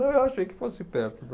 Eu achei que fosse perto da.